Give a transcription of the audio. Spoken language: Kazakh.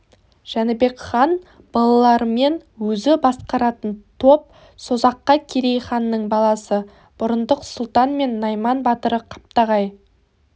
жәнібек хан балаларымен өзі басқаратын топ созаққа керей ханның баласы бұрындық сұлтан мен найман батыры қаптағай